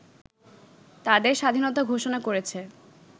তাদের স্বাধীনতা ঘোষণা করেছে